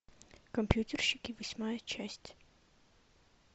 компьютерщики восьмая часть